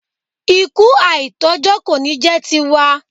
Ikú àìtójọ́ kò ní jẹ́ ti wa.